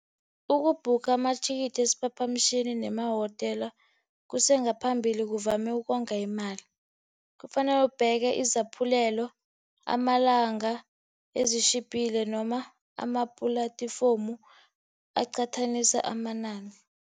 Uku-book amathikithi wesiphaphamtjhini ngemahotela kusengaphambili kuvame ukonga imali. Kufanele ubheke izaphulelo, amalanga, ezitjhiphile noma ama-platform aqhathanisa amanani.